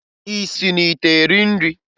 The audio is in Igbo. Ị si n'ite eri nri?